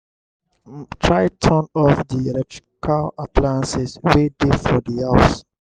try turn off di electrical appliances wey de for di house